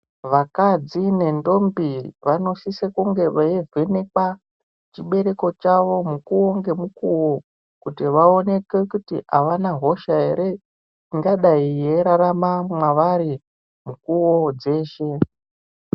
Vakadzi nendombi vanosise kunge veivhenekwe chibereko chavo mukuwo ngemukuwo kuti vaoneke kuti avana hosha ere ingadayi yeirarama mwevari mukuwo dzeshe.